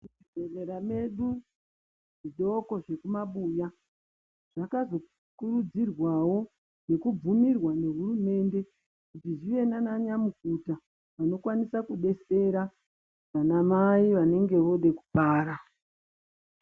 Zvibhedhlera zvedu, zvidoko zvekumabuya, zvakazorudzirwawo nekubhuirwa nehurumende, kuti zvive naananyamukuta, vanokwanisa kubetsera, vanamai vanenge voode kubara.